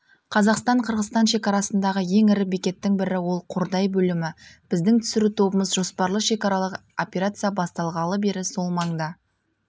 қазақстан-қырғызстан шекарасындағы ең ірі бекеттің бірі ол қордай бөлімі біздің түсіру тобымыз жоспарлы шекаралық операция басталғалы бері сол маңда